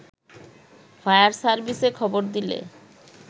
fire সার্ভিসে খবর দিলে